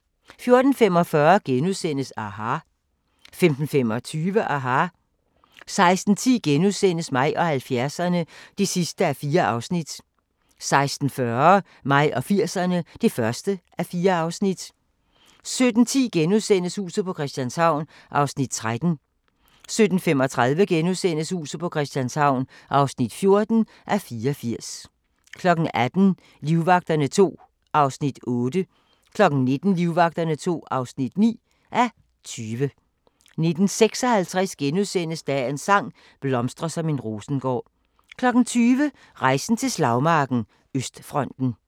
14:45: aHA! * 15:25: aHA! 16:10: Mig og 70'erne (4:4)* 16:40: Mig og 80'erne (1:4) 17:10: Huset på Christianshavn (13:84)* 17:35: Huset på Christianshavn (14:84)* 18:00: Livvagterne II (8:20) 19:00: Livvagterne II (9:20) 19:56: Dagens sang: Blomstre som en rosengård * 20:00: Rejsen til slagmarken: Østfronten